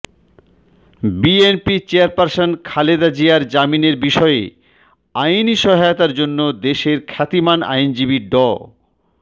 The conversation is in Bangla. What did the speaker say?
বিএনপি চেয়ারপারসন খালেদা জিয়ার জামিনের বিষয়ে আইনি সহায়তার জন্য দেশের খ্যাতিমান আইনজীবী ড